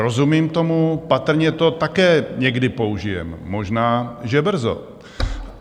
Rozumím tomu, patrně to také někdy použijeme, možná že brzo.